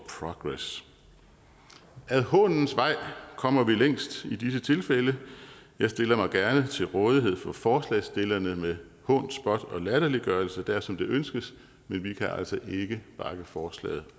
progress ad hånens vej kommer vi længst i disse tilfælde jeg stiller mig gerne til rådighed for forslagsstillerne med hån spot og latterliggørelse dersom det ønskes men vi kan altså ikke bakke forslaget